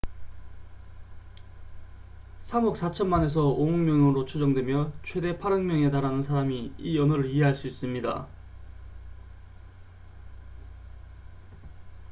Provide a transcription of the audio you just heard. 3억 4천만에서 5억 명으로 추정되며 최대 8억 명에 달하는 사람이 이 언어를 이해할 수 있습니다